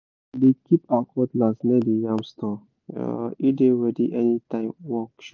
she dey keep her cutlass near the yam store—e dey ready anytime work show